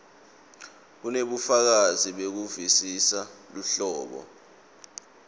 kunebufakazi bekuvisisa luhlobo